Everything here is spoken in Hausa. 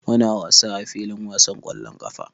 Muna wasa a filin wasan ƙwallon ƙafa.